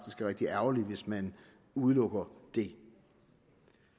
rigtig ærgerligt hvis man udelukker det